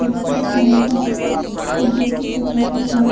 और उसमे tricolour से फुग्गो से सजावट है।